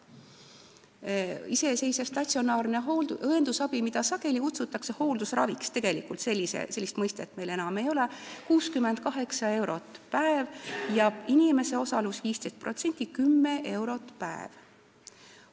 Iseseisev statsionaarne õendusabi, mida sageli kutsutakse hooldusraviks – tegelikult sellist mõistet meil enam ei ole –, maksab 68 eurot päev ja inimese osalus on 15% ehk 10 eurot päev.